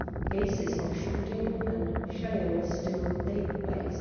Cases of shooting and shelling still take place